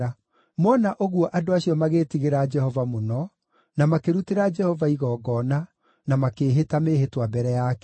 Mona ũguo andũ acio magĩĩtigĩra Jehova mũno; na makĩrutĩra Jehova igongona, na makĩĩhĩta mĩĩhĩtwa mbere yake.